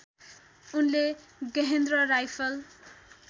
उनले गेहेन्द्र राइफल